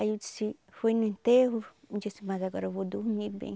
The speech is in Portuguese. Aí eu disse, fui no enterro, disse mas agora eu vou dormir bem.